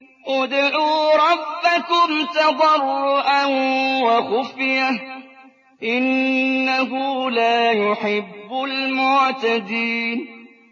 ادْعُوا رَبَّكُمْ تَضَرُّعًا وَخُفْيَةً ۚ إِنَّهُ لَا يُحِبُّ الْمُعْتَدِينَ